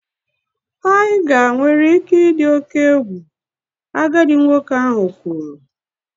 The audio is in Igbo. Tiger nwere ike ịdị oke egwu, agadi nwoke ahụ kwuru